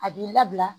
A b'i labila